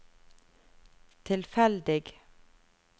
tilfeldig